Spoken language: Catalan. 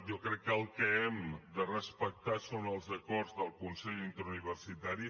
jo crec que el que hem de respectar són els acords del consell interuniversitari